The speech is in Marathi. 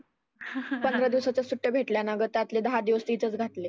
पंधरा दिवसाच्याच सुट्ट्या भेटल्या ना गं त्यातले दहा दिवस तर इथंच घातले.